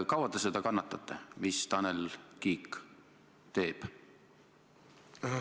Kaua te seda kannatate, mida Tanel Kiik teeb?